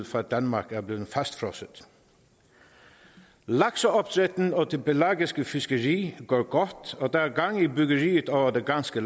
fra danmark er blevet fastfrosset lakseopdrætten og det pelagiske fiskeri går godt og der er gang i byggeriet over det ganske